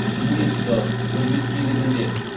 генетикалық бірбеткейлігінде